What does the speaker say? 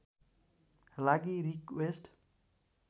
लागि रिक्वेस्ट